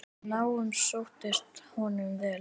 Námið sóttist honum vel.